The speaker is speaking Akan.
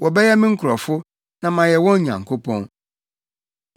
Wɔbɛyɛ me nkurɔfo, na mayɛ wɔn Nyankopɔn.